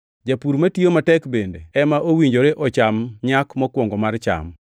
Japur matiyo matek bende ema owinjore ocham nyak mokwongo mar cham.